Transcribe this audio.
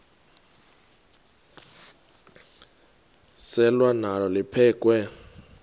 selwa nalo liphekhwe